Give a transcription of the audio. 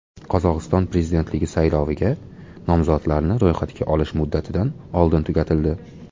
Qozog‘iston prezidentligi sayloviga nomzodlarni ro‘yxatga olish muddatidan oldin tugatildi.